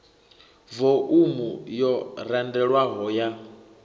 vo umu yo randelwaho ya